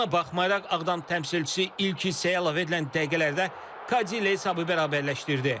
Buna baxmayaraq Ağdam təmsilçisi ilk hissəyə əlavə edilən dəqiqələrdə Kadi ilə hesabı bərabərləşdirdi.